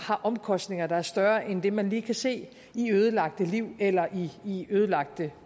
har omkostninger der er større end det man lige kan se i ødelagte liv eller i ødelagte